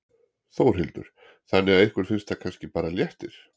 Þórhildur: Þannig að ykkur finnst það kannski bara léttir?